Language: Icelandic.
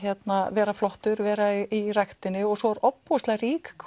vera flottur vera í ræktinni og svo er ofboðslega rík